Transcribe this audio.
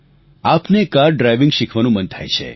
આપને car driving શીખવાનું મન થાય છે